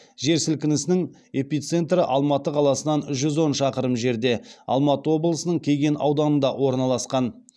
жер сілкінісінің эпицентрі алматы қаласынан жүз он шақырым жерде алматы облысының кеген ауданында орналасқан